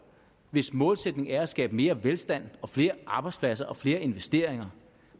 hvis målsætning det er at skabe mere velstand og flere arbejdspladser og flere investeringer